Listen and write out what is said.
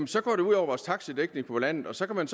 så går det ud over vores taxadækning på landet og så kan